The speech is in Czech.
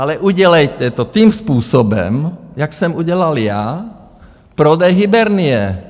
Ale udělejte to tím způsobem, jak jsem udělal já prodej Hybernie.